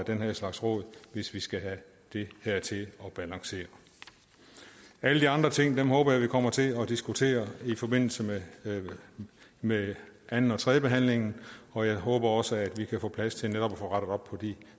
den her slags råd hvis vi skal have det her til at balancere alle de andre ting håber jeg vi kommer til at diskutere i forbindelse med med anden og tredjebehandlingen og jeg håber også at vi kan få plads til netop at få rettet op på de